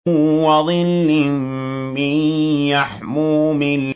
وَظِلٍّ مِّن يَحْمُومٍ